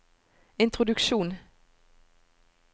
introduksjon